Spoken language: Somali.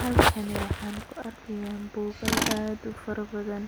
Halkani waxan ku arkaya bugal aad u fara badan